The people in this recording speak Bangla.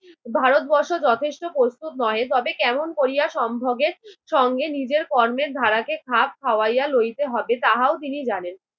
ভারত বর্ষ যথেষ্ট প্রস্তুত নহে তবে কেমন করিয়া সম্ভগের সঙ্গে নিজের কর্মের ধারাকে খাপ খাওইয়া লইতে হইবে তাহাও তিনি জানেন।